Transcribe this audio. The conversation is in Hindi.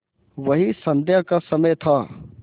वही संध्या का समय था